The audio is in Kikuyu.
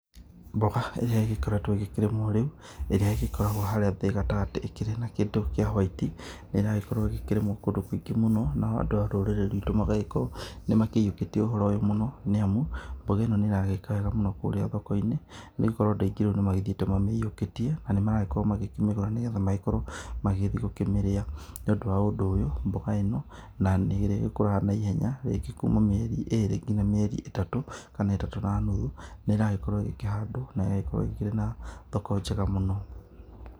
Mboga ĩrĩa ĩgĩkoretwo ĩgĩkĩrĩmwo rĩu, ĩrĩa ĩgĩkoragwo harĩa thĩ gatagatĩ ĩkĩrĩ na kĩndũ kĩa hwaiti, ĩragĩkorwo ĩgĩkĩrĩmwo kũndũ kũingĩ mũno, na andũ a rũrĩrĩ rwitũ magagĩkorwo nĩ makĩiyũkĩtie ũhoro ũyũ mũno. Nĩamu, mboga ĩno nĩ ĩragĩka wega mũno kũrĩa thoko-inĩ, nĩ gũkorwo andũ aingĩ rĩu nĩ magĩthiite mamĩiyũkĩtie, na nĩ maragĩkorwo makĩmĩgũra nĩ getha magĩkorwo magĩgĩthiĩ gũkĩmĩrĩa. Nĩundũ wa ũndũ ũyũ, mboga ĩno na nĩ ĩrĩgĩkũraga na ihenya rĩngĩ kuma mĩeri ĩrĩ nginya mĩeri ĩtatũ, kana ĩtatũ na nuthu, nĩiragĩkorwo ĩgĩkĩhandwo, na ĩgagĩkorwo ĩrĩ na thoko njega mũno.